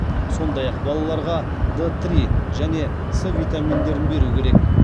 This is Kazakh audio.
сондай ақ балаларға д три және с витаминдерін беру керек